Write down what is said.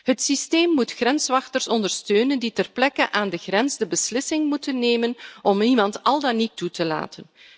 Het systeem moet grenswachters ondersteunen die ter plekke aan de grens de beslissing moeten nemen om iemand al dan niet toe te laten.